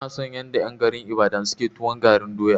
Ina son yanda en Ibadan ke tuwon garin doya.